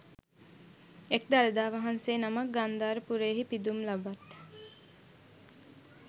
එක් දළදා වහන්සේ නමක් ගන්ධාර පුරයෙහි පිදුම් ලබත්